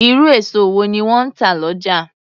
Irú èso wọ́n ni wọn ń tà lọ́jà